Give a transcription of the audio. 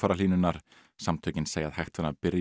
hamfarahlýnunar samtökin segja að hægt væri að byrja